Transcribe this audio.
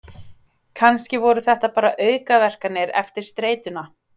Kannski voru þetta bara aukaverkanir eftir streituna.